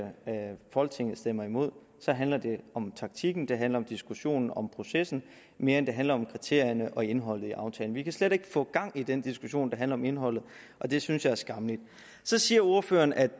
folketinget stemmer imod så handler det om taktikken det handler om diskussionen om processen mere end det handler om kriterierne og indholdet i aftalen vi kan slet ikke få gang i den diskussion der handler om indholdet og det synes jeg er skammeligt så siger ordføreren at